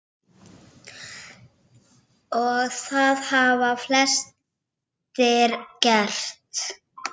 Og það hafa flestir gert.